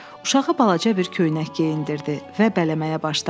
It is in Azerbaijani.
Uşağa balaca bir köynək geyindirdi və bələməyə başladı.